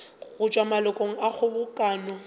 go tšwa malokong a kgobokano